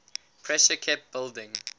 pressure kept building